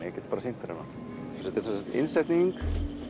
ég get bara sýnt þér hana þetta er innsetning